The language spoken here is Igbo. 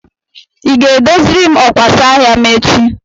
Ị ga-edoziri m ọkwasa ahịa m echi?